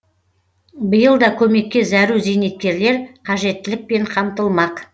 биыл да көмекке зәру зейнеткерлер қажеттілікпен қамтылмақ